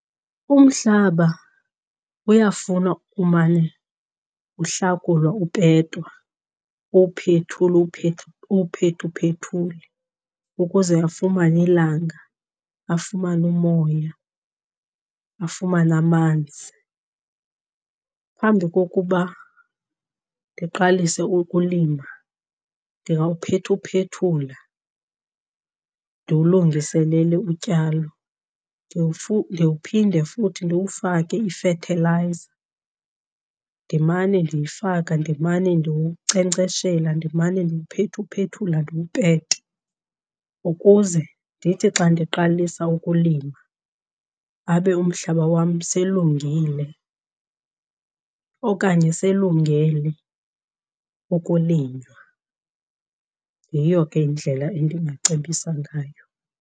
Umhlaba uyafuna umane uhlakulwa upetwa, uwuphethule uwuphethuphethule ukuze afumane ilanga, afumane umoya, afumane amanzi. Phambi kokuba ndiqalise ukulima ndingawuphethuphethula ndiwulungiselele utyalo. Ndiwuphinde futhi ndiwufake ifethilayiza, ndimane ndiyifaka, ndimane ndiwunkcenkceshela, ndimane ndiwuphethuphethula ndiwupete. Ukuze ndithi xa ndiqalisa ukulima abe umhlaba wam selungile okanye selungele ukulinywa. Yiyo ke indlela endingacebisa ngayo.